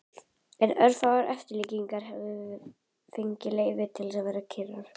En örfáar eftirlíkingar hafa fengið leyfi til að vera kyrrar.